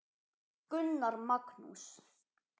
Gunnar Magnús.